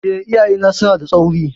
Eh, iyayena suna da tsauri.